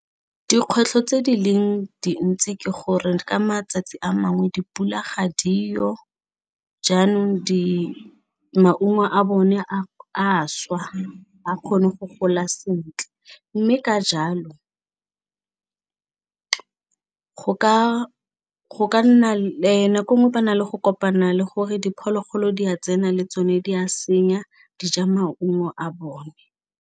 Dikgwetlho tse di leng dintsi ke gore ka matsatsi a mangwe dipula ga di yo jaanong maungo a bone a swa a kgone go gola sentle mme ka jalo go ka nna le, nako nngwe ba na le go kopana le gore diphologolo di a tsena le tsone di a senya di ja maungo a bone.